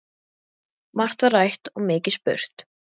Margt var rætt og mikið spurt.